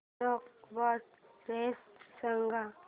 snake boat race सांग